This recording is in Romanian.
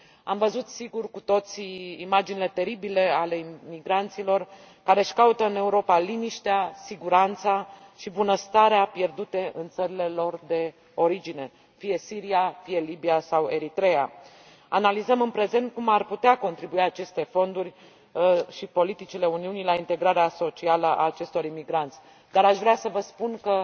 Am văzut, sigur, cu toții, imaginile teribile ale imigranților care își caută în Europa liniștea, siguranța și bunăstarea pierdute în țările lor de origine, fie Siria, fie Libia sau Eritreea. Analizăm, în prezent, cum ar putea contribui aceste fonduri și politicile Uniunii la integrarea socială a acestor imigranți, dar aș vrea să vă spun